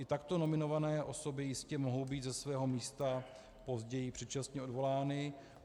I takto nominované osoby jistě mohou být ze svého místa později předčasně odvolány.